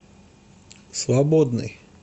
свободный